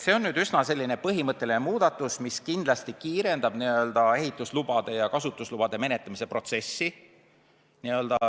See on üsna põhimõtteline muudatus, mis kindlasti kiirendab ehituslubade ja kasutuslubade menetlemise protsessi.